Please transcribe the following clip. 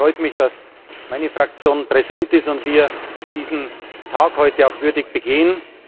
Deswegen freut mich, dass meine Fraktion präsent ist und wir diesen Tag heute auch würdig begehen.